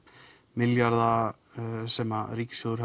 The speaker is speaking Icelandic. milljarða sem ríkissjóður